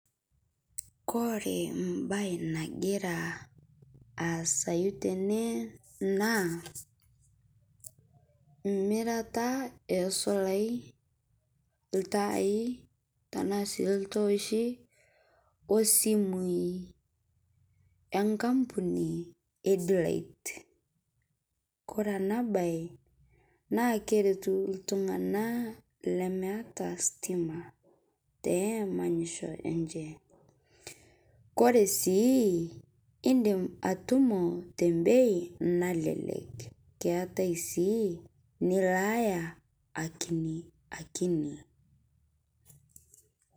Kore mbai nagira aasayu tene naa mirata esolai ltaai tanaa sii ltooshi osimui enkampuni e d-light kore ana bai naa keretu ltung'ana lemeata stima te emanyisho enshe kore sii indim atumo te embei nalelek keatai sii nilaaya akiniakini.